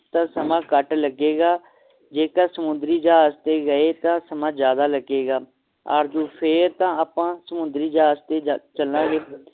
ਤਾ ਸਮਾਂ ਘਟ ਲੱਗੇਗਾ ਜੇਕਰ ਸਮੁੰਦਰੀ ਜਹਾਜ ਤੇ ਗਏ ਤਾ ਸਮਾਂ ਜ਼ਿਆਦਾ ਲੱਗੇਗਾ ਆਰਜ਼ੂ ਫੇਰ ਤਾ ਅੱਪਾਂ ਸਮੁੰਦਰੀ ਜਹਾਜ਼ ਤੇ ਚੱਲਾਂਗੇ